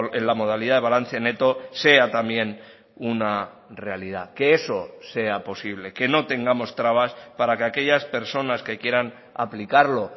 en la modalidad de balance neto sea también una realidad que eso sea posible que no tengamos trabas para que aquellas personas que quieran aplicarlo